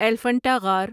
ایلیفنٹا غار